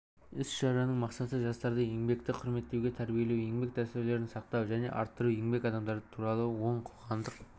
іс-шараның мақсаты жастарды еңбекті құрметтеуге тәрбиелеу еңбек дәстүрлерін сақтау және арттыру еңбек адамдары туралы оң қоғамдық